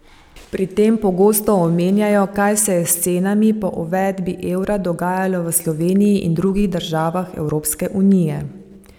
Pri tem pogosto omenjajo, kaj se je s cenami po uvedbi evra dogajalo v Sloveniji in drugih državah Evropske unije.